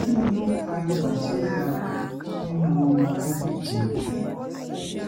kini o fa iba ti o ga ninu ọmọ ọdun meje